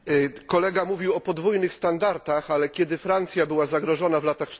Kolega mówił o podwójnych standardach, ale kiedy Francja była zagrożona w latach